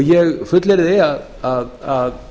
ég fullyrði að